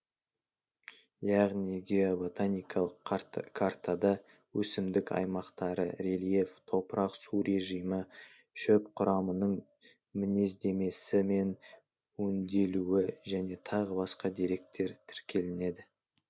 яғни геоботаникалық картада өсімдік аймақтары рельеф топырақ су режимі шөп құрамының мінездемесі мен өнделуі және тағы басқа деректер тіркелінеді